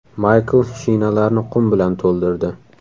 Maykl shinalarni qum bilan to‘ldirdi.